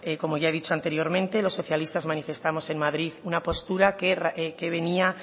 como ya he dicho anteriormente los socialistas manifestamos en madrid una postura que venía